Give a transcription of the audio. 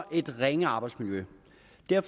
jeg